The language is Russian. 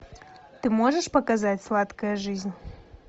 ты можешь показать сладкая жизнь